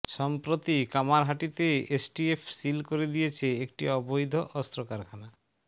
সম্প্রতি কামারহাটিতে STF seal করে দিয়েছে একটি অবৈধ অস্ত্র কারখানা